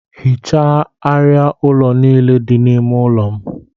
Ghichaa arịa ụlọ niile dị n'ime ime ụlọ m